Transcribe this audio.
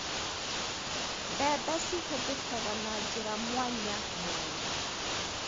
Mbembe cihũthĩkaga na njĩra mwanyamwanya.